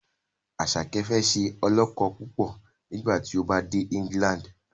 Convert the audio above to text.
Asake fẹ ṣe olókó púpọ nigbati o bá dè England